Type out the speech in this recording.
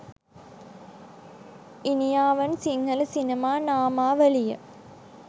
ඉනියවන් සිංහල සිනමා නාමාවලිය